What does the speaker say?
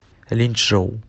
линьчжоу